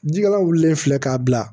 Jikala wulilen filɛ k'a bila